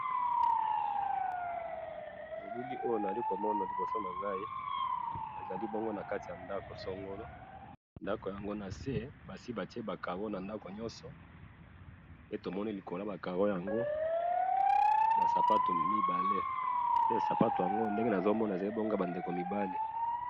Na moni ndako ya makaro na se, bati sapato mibale ya mibali.